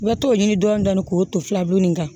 I bɛ t'o ɲini dɔɔni dɔɔni k'o to filabu ni kan